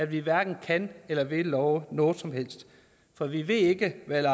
vi hverken kan eller vil love noget som helst for vi ved ikke hvad